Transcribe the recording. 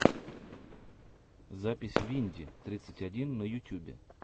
запись винди тридцать один на ютубе